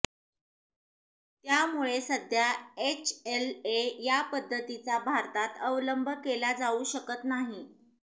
त्यामुळे सध्या एचएलए या पद्धतीचा भारतात अवलंब केला जाऊ शकत नाही